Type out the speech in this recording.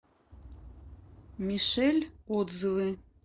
мишель отзывы